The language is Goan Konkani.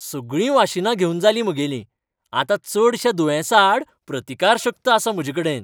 सगळीं वाशिनां घेवन जालीं म्हगेलीं. आतां चडश्या दुयेंसांआड प्रतिकारशक्त आसा म्हजेकडेन.